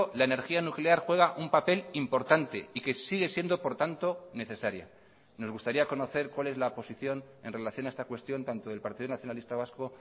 la energía nuclear juega un papel importante y que sigue siendo por tanto necesaria nos gustaría conocer cuál es la posición en relación a esta cuestión tanto del partido nacionalista vasco